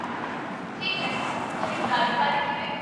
ਉਮ, ਠੀਕ ਹੈ, ਖ਼ਰੀਦਦਾਰੀ ਬਾਰੇ ਕਿਵੇਂ?